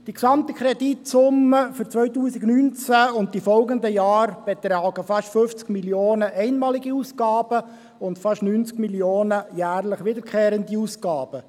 Die gesamte Kreditsumme für das Jahr 2019 und die Folgejahre beträgt fast 50 Mio. Franken als einmalige Ausgaben und beinahe 90 Mio. Franken an jährlich wiederkehrenden Ausgaben.